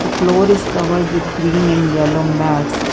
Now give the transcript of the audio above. The floor is covered with green and yellow mats.